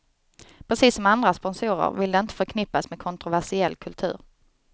Precis som andra sponsorer vill de inte förknippas med kontroversiell kultur.